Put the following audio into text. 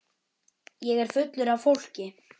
Ég er fullur af fólki.